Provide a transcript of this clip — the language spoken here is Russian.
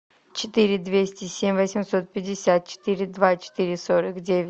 четыре двести семь восемьсот пятьдесят четыре два четыре сорок девять